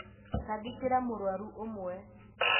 tangĩkĩra mũrwaru ũmwe